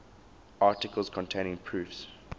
articles containing proofs